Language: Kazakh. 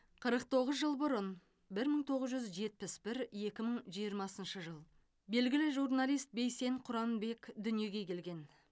қырық тоғыз жыл бұрын бір мың тоғыз жүз жетпіс бір екі мың жиырмасыншы жыл белгілі журналист бейсен құранбек дүниеге келген